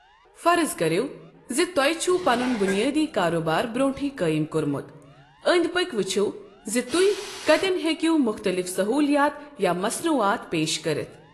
فرض کٔرِو زِ توہہِ چھوٕ پنن بنیٲدی کارٕبار برونٹھٕے قٲیم كورمت، أنٛدۍ پٔكۍ وٕچِھو زِ تُہۍ کتٮ۪ن ہیٚکو مختلِف سٔہولِیات یا مصنوعات پیش کٔرِتھ۔